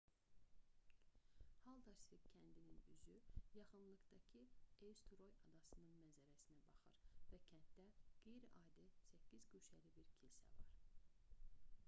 haldarsvik kəndinin üzü yaxınlıqdakı eysturoy adasının mənzərəsinə baxır və kənddə qeyri-adi səkkizguşəli bir kilsə var